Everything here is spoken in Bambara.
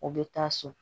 O bɛ taa so